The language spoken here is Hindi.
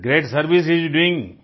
it's great service he is doing